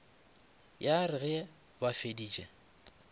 ya re ge ba feditše